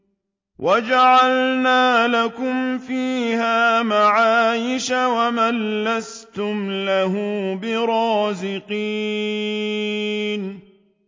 وَجَعَلْنَا لَكُمْ فِيهَا مَعَايِشَ وَمَن لَّسْتُمْ لَهُ بِرَازِقِينَ